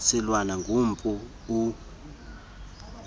silwana gumpu u